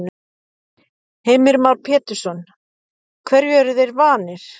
Heimir Már Pétursson: Hverju eru þeir vanir?